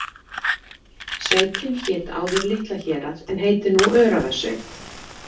Sveitin hét áður Litla-Hérað en heitir nú Öræfasveit.